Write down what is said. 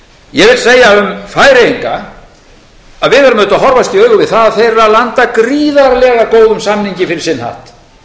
ég vil segja um færeyinga að við verðum auðvitað að horfast í augu við það að þeir eru að landa gríðarlega góðum samningi fyrir sinn hatt